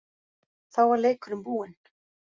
Þá var leikurinn búinn.